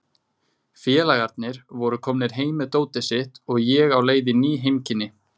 Félagarnir voru komnir heim með dótið sitt og ég á leið í ný heimkynni.